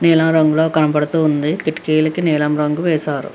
నీలం రంగులో కనపడుతూ ఉంది కిటికీలకి నీలం రంగు వేశారు.